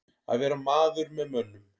Að vera maður með mönnum